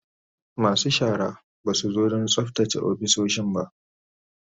Masu shara ba su zo don tsaftace ofisoshin ba